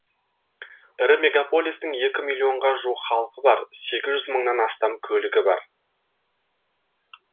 ірі мегаполистің екі миллион ға жуық халқы бар сегіз жүз мыңнан астам көлігі бар